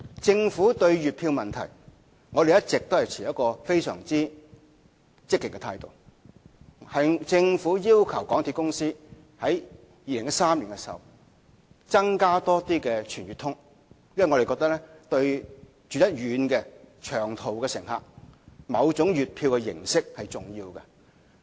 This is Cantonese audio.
政府對月票問題一直持非常積極的態度，政府在2013年要求香港鐵路有限公司推出更多"全月通"計劃，因為我們覺得對居於偏遠地區的長途乘客而言，某種的月票形式是重要的。